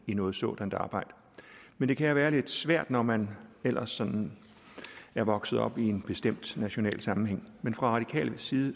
i noget sådant arbejde men det kan jo være lidt svært når man ellers sådan er vokset op i en bestemt national sammenhæng fra radikal side